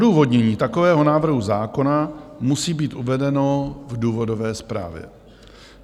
Odůvodnění takového návrhu zákona musí být uvedeno v důvodové zprávě.